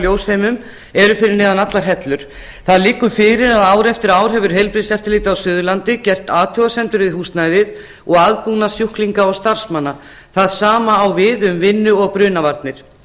ljósheimum eru fyrir neðan allar hellur það liggur fyrir að ár eftir ár hefur heilbrigðiseftirlitið á suðurlandi gert athugasemdir við húsnæðið og aðbúnað sjúklinga og starfsmanna það sama á við um vinnu og brunavarnir